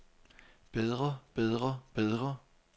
bedre bedre bedre